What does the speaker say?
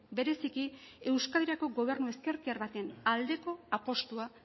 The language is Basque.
bereziki euskadirako gobernu ezkertiar baten aldeko apustua